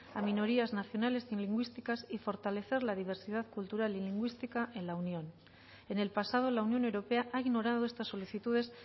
a minorías nacionales y lingüísticas y fortalecer la diversidad cultural y lingüística en la unión en el pasado la unión europea ha ignorado estas solicitudes